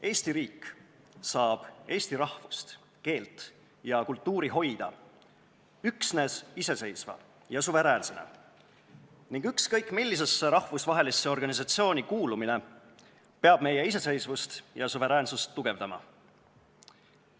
Eesti riik saab eesti rahvust, keelt ja kultuuri hoida üksnes iseseisvana, suveräänsena, ning ükskõik millisesse rahvusvahelisesse organisatsiooni kuulumine peab meie iseseisvust, meie suveräänsust tugevdama.